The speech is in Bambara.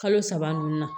Kalo saba ninnu na